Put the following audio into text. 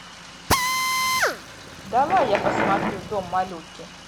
давай я посмотрю дом малютки